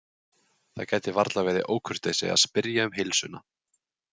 Það gæti varla verið ókurteisi að spyrja um heilsuna.